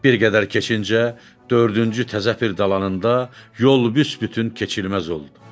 Bir qədər keçincə dördüncü təzəpir dalanında yol büsbütün keçilməz oldu.